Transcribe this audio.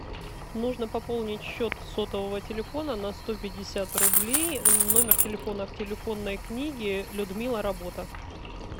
нужно пополнить счет сотового телефона на сто пятьдесят рублей номер телефона в телефонной книге людмила работа